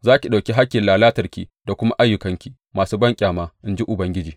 Za ki ɗauki hakkin lalatarki da kuma ayyukanki masu banƙyama, in ji Ubangiji.